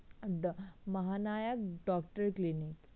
The Mahanayak doctor clinic